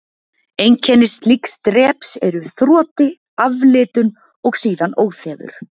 Einkenni slíks dreps eru þroti, aflitun og síðan óþefur.